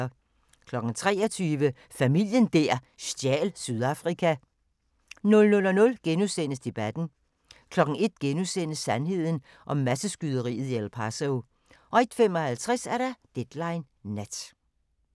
23:00: Familien der stjal Sydafrika 00:00: Debatten * 01:00: Sandheden om masseskyderiet i El Paso * 01:55: Deadline Nat